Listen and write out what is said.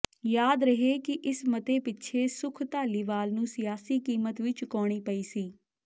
ਯਾਦ ਰਹੇ ਕਿ ਇਸ ਮਤੇ ਪਿੱਛੇ ਸੁੱਖ ਧਾਲੀਵਾਲ ਨੂੰ ਸਿਆਸੀ ਕੀਮਤ ਵੀ ਚੁਕਾਉਣੀ ਪਈ ਸੀ